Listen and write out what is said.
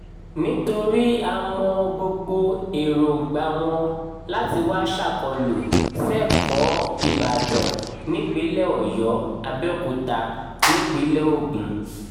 nítorí a mọ gbogbo èròǹgbà wọn láti wàá ṣàkólú sẹ́kọ̀ọ́ ìbàdàn nípìnlẹ̀ ọ̀yọ́ abẹ́òkúta nípínlẹ̀ ogun